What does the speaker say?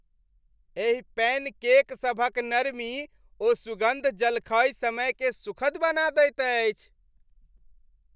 एहि pancake सभक नरमी ओ सुगन्ध जलखै समयकेँ सुखद बना दैत अछि।